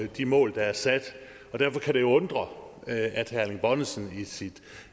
de mål der er sat og derfor kan det jo undre at herre erling bonnesen i sit